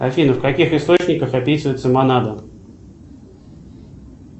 афина в каких источниках описывается монада